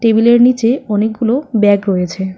টেবিলের নীচে অনেকগুলো ব্যাগ রয়েছে।